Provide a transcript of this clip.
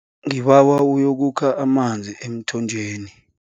Ngibawa uyokukha amanzi emthonjeni.